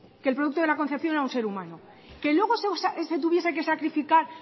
que el producto de la concepción era un ser humano que luego se tuviese que sacrificar